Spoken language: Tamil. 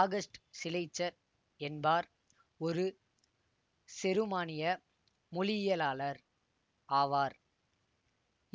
ஆகஸ்ட் சிலெய்ச்சர் என்பார் ஒரு செருமானிய மொழியியலாளர் ஆவார்